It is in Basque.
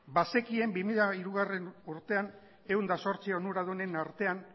bazekien bi mila hirugarrena urtean ehun eta zortzi onuradunen artean